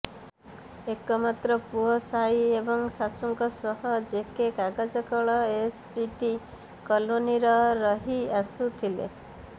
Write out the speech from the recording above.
ଏକ ମାତ୍ର ପୁଅ ସାଇ ଏବଂ ଶାଶୁଙ୍କ ସହ ଜେକେ କାଗଜକଳ ଏସପିଟି କଲୋନୀର ରହି ଆସୁଥିଲେ